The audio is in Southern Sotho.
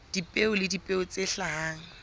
dipeo le dipeo tse hlahang